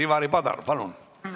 Ivari Padar, palun!